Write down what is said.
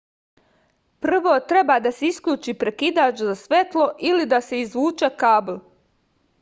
prvo treba da se isključi prekidač za svetlo ili da se izvuče kabl